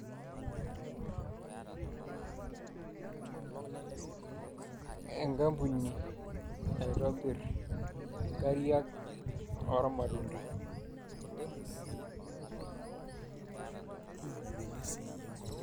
Enkampuni naitobirr inkarriak oormatunda